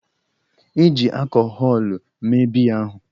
E ji akọhọlụ mee biya ahụ.